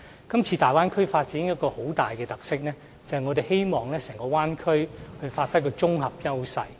今次大灣區的發展有一個很大的特色，就是我們希望整個大灣區能發揮綜合優勢。